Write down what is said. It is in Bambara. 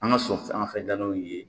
An ka sɔn fɛn sanfɛ dalaw ye